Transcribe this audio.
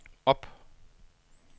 op